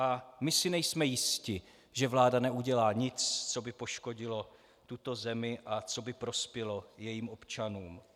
A my si nejsme jisti, že vláda neudělá nic, co by poškodilo tuto zemi a co by prospělo jejím občanům.